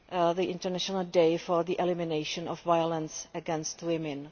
the International Day for the Elimination of Violence against Women.